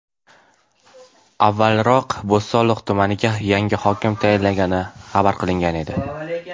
Avvalroq Bo‘stonliq tumaniga yangi hokim tayinlangani xabar qilingan edi .